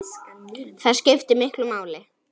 Það skiptir miklu máli.